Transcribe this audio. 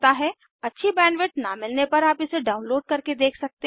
अच्छी बैंडविड्थ न मिलने पर आप इसे डाउनलोड करके देख सकते हैं